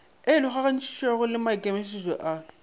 e logagantšwego le maikemietšo a